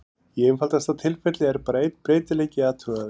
Í einfaldasta tilfelli er bara einn breytileiki athugaður.